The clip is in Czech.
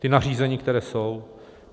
Ta nařízení, která jsou?